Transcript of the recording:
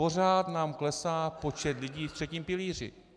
Pořád nám klesá počet lidí ve třetím pilíři.